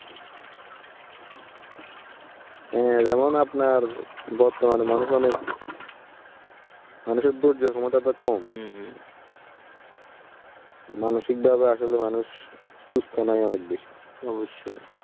হ্যাঁ যেমন আপনার বর্তমানে মানুষ অনেক মানুষের ধৈর্যর ক্ষমতা অনেক কম। মানুসিকভাবে আসলে মানুষ সুস্থ নাই অনেক বেশি